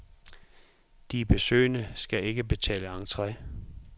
De besøgende skal ikke betale entre.